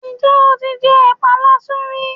Ǹ jẹ́ o ti jẹ ẹ̀pa kasú rí